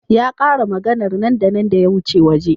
Ya k'are maganar nan da nan da ya wuce waje.